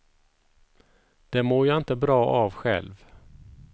Det mår jag inte bra av själv!